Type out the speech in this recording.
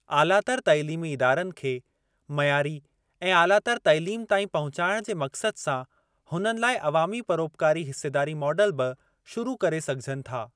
आलातर तइलीमी इदारनि खे मयारी ऐं आलातर तइलीम ताईं पहुचाइणु जे मक़्सद सां हुननि लाइ अवामी परोपकारी हिस्सेदारी मॉडल बि शुरू करे सघिजनि था।